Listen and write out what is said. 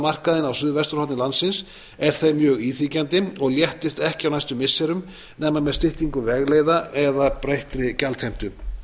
aðalmarkaðinn á suðvesturhorni landsins er þeim mjög íþyngjandi og léttist ekki á næstu missirum nema með styttingu vegleiða eða breyttri gjaldheimtu